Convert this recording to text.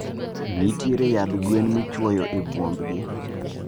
Ntiere yadh gwen michoyo e bwuombgi